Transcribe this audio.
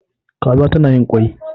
Kaza za ta yi kwai